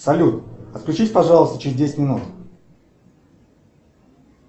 салют отключись пожалуйста через десять минут